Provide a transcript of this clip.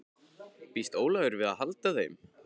Býst Ólafur við að halda þeim?